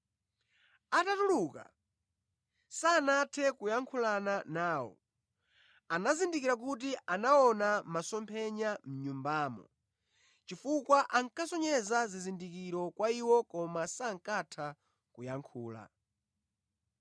Atatuluka sanathe kuyankhulana nawo. Anazindikira kuti anaona masomphenya mʼNyumbamo, chifukwa ankasonyeza zizindikiro kwa iwo koma sankatha kuyankhula.